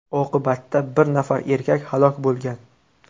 Oqibatda bir nafar erkak halok bo‘lgan.